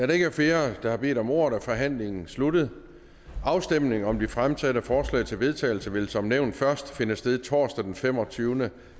der ikke er flere der har bedt om ordet er forhandlingen sluttet afstemning om de fremsatte forslag til vedtagelse vil som nævnt først finde sted torsdag den femogtyvende